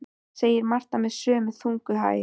segir Marta með sömu þungu hægð.